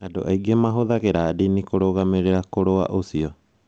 Andũ aingĩ mahũthagĩra ndini kũrũgamĩrĩra kũrũa ũcio.